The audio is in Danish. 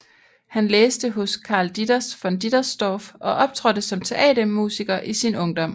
Han læste hos Carl Ditters von Dittersdorf og optrådte som teatermusiker i sin ungdom